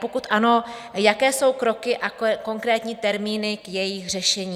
Pokud ano, jaké jsou kroky a konkrétní termíny k jejich řešení?